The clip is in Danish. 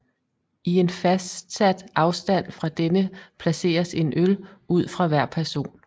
I en fastsat afstand fra denne placeres en øl ud fra hver person